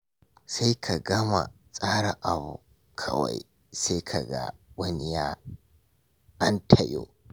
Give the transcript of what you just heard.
Sai ka gama tsara abu, kawai sai ka ga wani ya antayo.